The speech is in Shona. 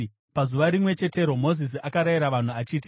Pazuva rimwe chetero Mozisi akarayira vanhu achiti: